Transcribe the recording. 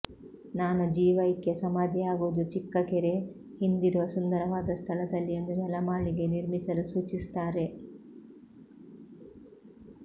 ನಾನು ಜೀವೈಕ್ಯ ಸಮಾಧಿಯಾಗುವುದು ಚಿಕ್ಕಕೆರೆ ಹಿಂದಿರುವ ಸುಂದರವಾದ ಸ್ಥಳದಲ್ಲಿ ಎಂದು ನೆಲಮಾಳಿಗೆ ನಿರ್ಮಿಸಲು ಸೂಚಿಸುತ್ತಾರೆ